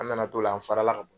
An nana to la, an fara la